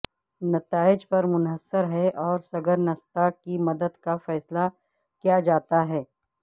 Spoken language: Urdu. نتائج پر منحصر ہے اور سگرنستا کی مدت کا فیصلہ کیا جاتا ہے